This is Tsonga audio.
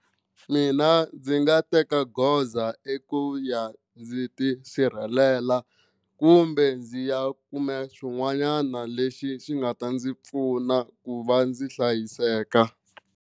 Mina ndzi nga teka goza i ku ya ndzi ti sirhelela kumbe ndzi ya kume xin'wanyana lexi xi nga ta ndzi pfuna ku va ndzi hlayiseka.